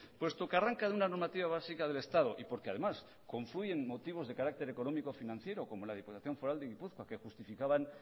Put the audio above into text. puesto que arranca de una normativa básica del estado y porque además confluyen motivos de carácter económico financiero como la diputación foral de gipuzkoa que justificaban